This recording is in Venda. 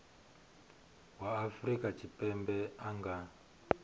wa afrika tshipembe a nga